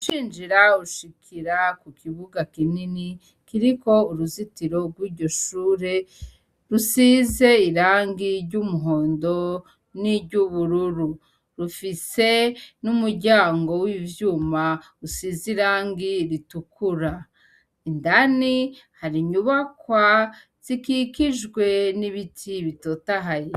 Ucinjira ushikira kukibuga kinini kiriko uruzitiro rwiryo shure rusize irangi ryumuhondo niryubururu ufise numuryango wivyuma rusize irangi ritukura indani hari inyubakwa zikikijwe nibiti bitotahaye